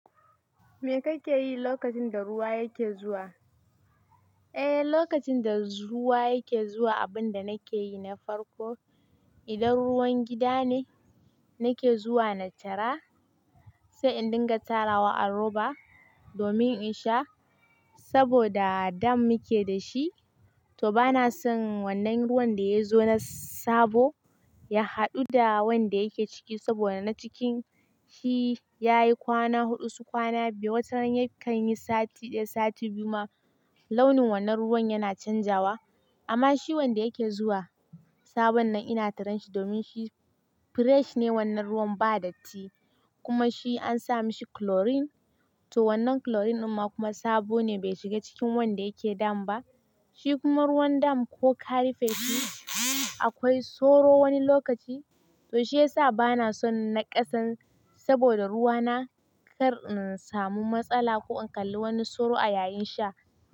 Me ka ke yi lokacin da ruwa yake zuwa? Eh, lokacin da ruwa yake zuwa, abin da na ke yi na farko, idan ruwan gida ne, na ke zuwa na tara, sai in dinga tara wa a roba domin in sha. Saboda dam muke da shi, to ba na son wannan ruwan da ya zo na sabo ya haɗu da wanda yake ciki saboda na cikin shi ya yi kwana huɗu su kwana biyu. Wata rani kan yi sati ɗaya, sati biyu ma launin wannan ruwan yana canzawa. Amma shi wanda yake zuwa, sabon nan ina taranshi domin shi fresh ne wannan ruwan ba datti. Kuma shi an sa mashi chlorine, to wannan chlorine kuma sabo ne bai shiga cikin wanda yake dam ba. Shi kuma ruwan dam ko karife shi akwai soro wani lokaci. To shi ya sa ba na son na ƙasan saboda ruwa na kar in samu matsala ko in ƙalli wani soro a yayin sha.